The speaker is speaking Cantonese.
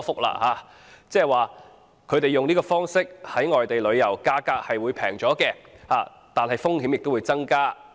換言之，市民以這方式在外地旅遊，價格是便宜，但風險也增加。